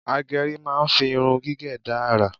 Agẹrí máa ń fi irun gígẹ̀ dá àrà